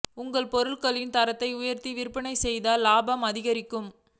உங்கள் பொருட்களின் தரத்தை உயர்த்தி விற்பனை செய்தால் இலாபம் அதிகரிக்கும்